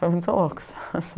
Foi muito louco essa...